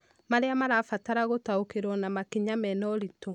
marĩa marabatara gũtaũkĩrũo na makinya mena ũritũ